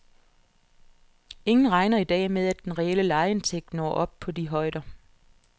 Ingen regner i dag med at den reelle lejeindtægt når op på de højder.